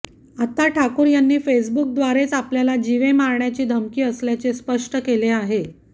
आता ठाकूर यांनी फेसबुकद्वारेच आपल्याला जीवे मारण्याची धमकी आल्याचे स्पष्ट केले आहे